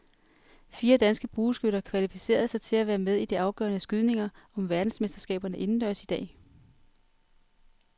Fire danske bueskytter kvalificerede sig til at være med i de afgørende skydninger om verdensmesterskaberne indendørs i dag.